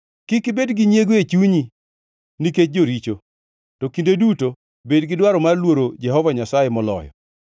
Kik ibed gi nyiego e chunyi nikech joricho; to kinde duto bedi gi dwaro mar luoro Jehova Nyasaye moloyo.